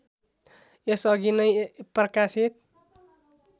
यसअघि नै प्रकाशित